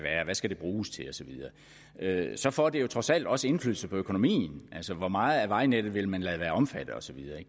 skal bruges til og så så får det trods alt også indflydelse på økonomien hvor meget af vejnettet vil man lade være omfattet osv